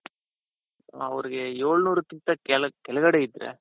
ಅವರಿಗೆ ಏಳ್ನೂರಕ್ಕಿಂತ ಕೆಳಕ್ ಕೆಳಗಡೆ ಇದ್ರೆ,